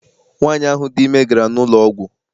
Nwaanyi ahụ dị ime gara n'ụlọ ọgwụ.